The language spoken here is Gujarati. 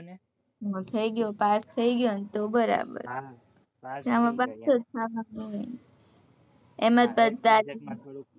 થઇ ગયો pass pass થઇ ગયો તો બરાબર એજ આ વખત